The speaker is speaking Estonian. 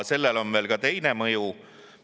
Sellel on veel ka teine mõju.